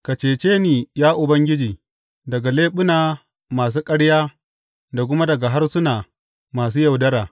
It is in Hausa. Ka cece ni, ya Ubangiji, daga leɓuna masu ƙarya da kuma daga harsuna masu yaudara.